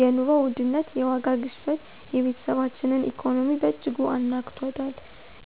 የኑሮ ውድነት (የዋጋ ግሽበት) የቤተሰባችንን ኢኮኖሚ በእጅጉ አናግቷል።